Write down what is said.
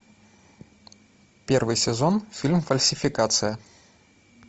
первый сезон фильм фальсификация